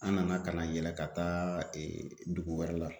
An nana ka na yɛlɛ ka taa dugu wɛrɛ la.